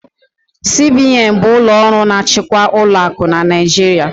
CBN bụ ụlọ ọrụ na-achịkwa ụlọakụ n'Naijiria